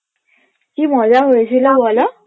কি মজা হয়েছিলো বলো